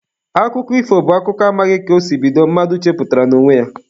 Akụkọ ifo bụ akụkọ amaghị ka o si bido, mmadụ chepụtara n'onwe ya.